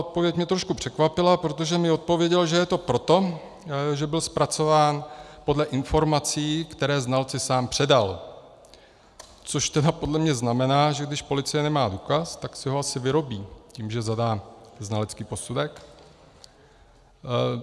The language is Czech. Odpověď mě trošku překvapila, protože mi odpověděl, že je to proto, že byl zpracován podle informací, které znalci sám předal, což tedy podle mě znamená, že když policie nemá důkaz, tak si ho asi vyrobí tím, že zadá znalecký posudek.